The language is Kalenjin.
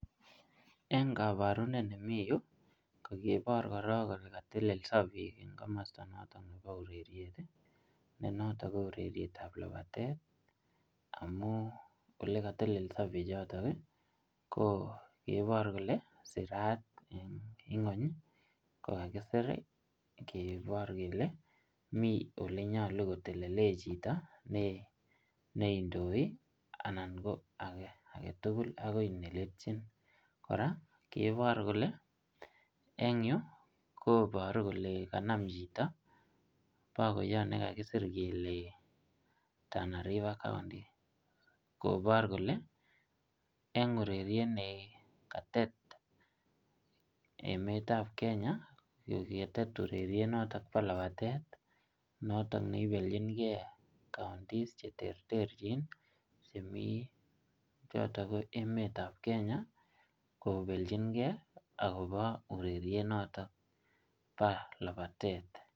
Eng' kabarunet ne miii yu, kakibor korok kole katelelso biik eng' komosto notok nebo ureriet, ne ntotok ko urerietab labatet, amu ole kateleledo bichotok, ko kebor kole sirat eng' ing'uny, kokakisir kebor kele mi ole nyolu kotelele chito ne ,ne indoi, anan ko age agetugul agoi neletchin. Kora kebor kole, eng' yuu, koboru kole kanam chito pakoiyot ne kakisir kele Tana River County. Kobor kole eng' ureriet ne katet emetab Kenya, koketet ureriet notok bo labatet, notok ne ibelchinkey counties che terterchin, chemi chotok ko emetab Kenya, kobelchinkey akobo ureriet notok bo labatet.